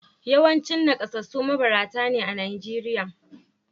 Yawancin nakasassu mabarata ne a Najeriya